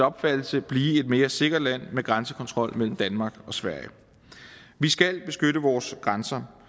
opfattelse blive et mere sikkert land med grænsekontrol mellem danmark og sverige vi skal beskytte vores grænser